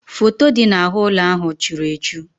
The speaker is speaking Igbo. Foto dị n'ahụ́ ụlọ ahụ churu echu.